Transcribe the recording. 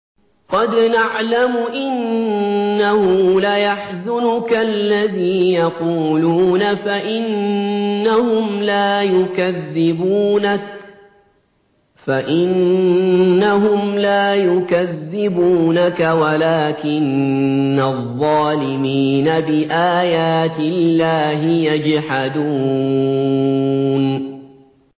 قَدْ نَعْلَمُ إِنَّهُ لَيَحْزُنُكَ الَّذِي يَقُولُونَ ۖ فَإِنَّهُمْ لَا يُكَذِّبُونَكَ وَلَٰكِنَّ الظَّالِمِينَ بِآيَاتِ اللَّهِ يَجْحَدُونَ